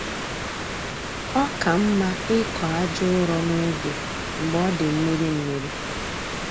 Ọ ka mma ịkọ aja ụrọ n'oge mgbe ọ dị mmiri mmiri